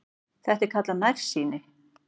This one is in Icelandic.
Þetta er kallað nærsýni.